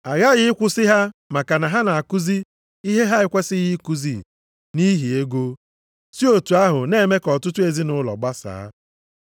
Aghaghị ịkwụsị ha maka na ha na-akụzi ihe ha ekwesighị ikuzi nʼihi ego, si otu ahụ na-eme ka ọtụtụ ezinaụlọ gbasaa.